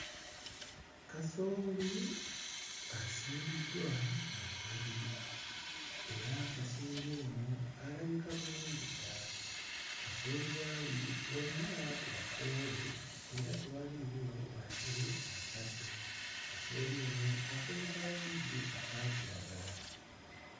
Kasooli asimbiddwa mu nnyiriri era kasooli ono alabika bulungi ddala, kasooli w'ali wonna wakoole era tewaliiwo yadde akaddo, kasooli ono akoze ka langi aka kiragala.